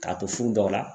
K'a to furu dɔw la